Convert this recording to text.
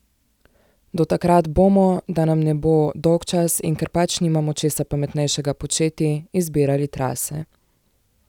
Do takrat bomo, da nam ne bo dolgčas in ker pač nimamo česa pametnejšega početi, izbirali trase.